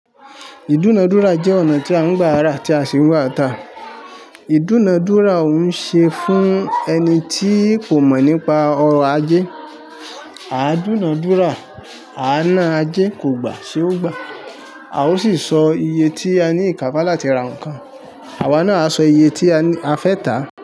Ìdúnadúrà jẹ́ ọ̀nà tí à ń gbà ara tí a sì ń gba tá Ìdúnadúrà òun ṣe fún ẹni tí kò mọ̀ nípa ọrọ̀ ajé. A dúnadúrà, a na ajé kò gbà, ṣé ó gbà? A ó sì sọ iye tí a ní ìkápá láti ra nǹkan, àwa náà a sọ iye tí a ní a fẹ́ tà.